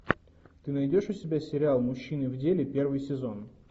ты найдешь у себя сериал мужчины в деле первый сезон